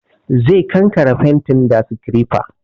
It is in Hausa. Zai kankare fentin da sikirefa